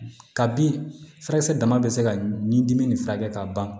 Ka bin furakisɛ dama bɛ se ka ɲin dimi nin furakɛ ka ban